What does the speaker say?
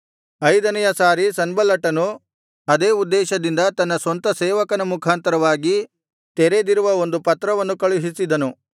ಐದನೆಯ ಸಾರಿ ಸನ್ಬಲ್ಲಟನು ಅದೇ ಉದ್ದೇಶದಿಂದ ತನ್ನ ಸ್ವಂತ ಸೇವಕನ ಮುಖಾಂತರವಾಗಿ ತೆರೆದಿರುವ ಒಂದು ಪತ್ರವನ್ನು ಕಳುಹಿಸಿದನು